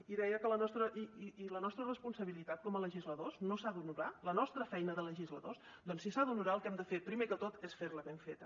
i la nostra responsabilitat com a legisladors no s’ha d’honorar la nostra feina de legisladors doncs si s’ha d’honorar el que hem de fer primer de tot és fer la ben feta